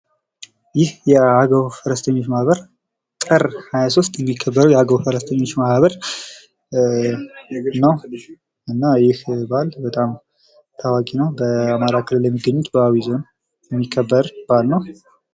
ይህ የአገዉ ፈረሰኞች ማህበር ጥር 23 የሚከበረዉ የአገዉ ፈረሰኞች ማህበር ነዉ። እና ይህ በዓል በጣም ታዋቂ ነዉ። በአማራ ክልል በአዊ ዞን የሚከበር በዓል ነዉ።